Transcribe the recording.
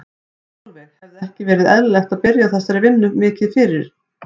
Sólveig: Hefði ekki verið eðlilegt að byrja á þessari vinnu mikið mikið fyrr?